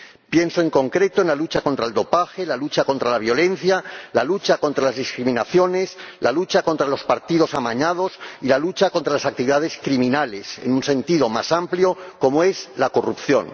Pienso, en concreto, en la lucha contra el dopaje, la lucha contra la violencia, la lucha contra las discriminaciones, la lucha contra los partidos amañados y la lucha contra las actividades criminales en un sentido más amplio, como es la corrupción.